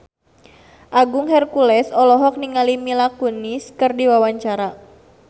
Agung Hercules olohok ningali Mila Kunis keur diwawancara